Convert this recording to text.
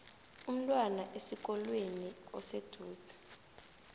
umntwana esikolweni oseduze